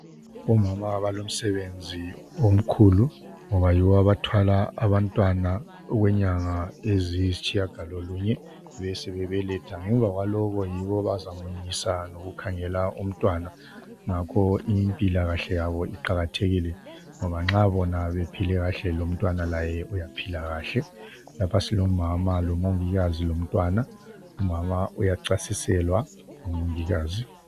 Omama balomsebenzi omkhulu ngoba yibo abathwala abantwana okwenyanga eziyisitshiyagalolunye besebebeletha. Ngemva kwalokho yibo abazamunyisa lokukhangela umntwana, ngakho impilakahle yabo iqakathekile, ngoba nxa bona bephile kahle lomtwana uyaphila kahle. Lapha silomama lomongikazi lomntwana. Umama uyachasiselwa ngumongikazi.